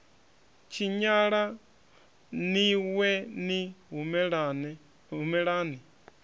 tshinyala ni wee ni humelani